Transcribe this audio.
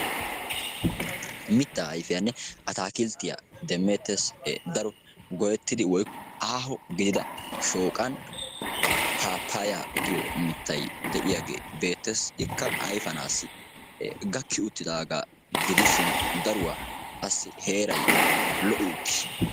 Mittaa ayfiyanne atakilttiyaa demettes e daro gooyettida woykko aaho giiga shooqani pappaya giyo mittaiya de'yagge beettees ikkaa ayfiyanawu gakki uttidagaa gidishin daruwaa qassi heeray lo'i uttiis.